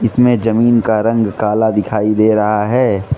इसमें जमीन का रंग काला दिखाई दे रहा है।